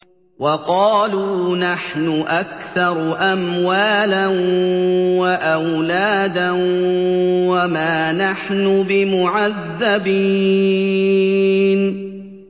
وَقَالُوا نَحْنُ أَكْثَرُ أَمْوَالًا وَأَوْلَادًا وَمَا نَحْنُ بِمُعَذَّبِينَ